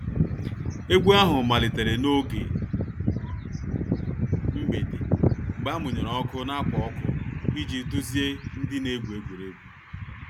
Egwu ahụ malitere n’oge mgbede, mgbe a muyere ọkụ na ákwà ọkụ iji duzie ndị na-egwu egwuregwu